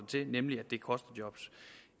til nemlig at det koster job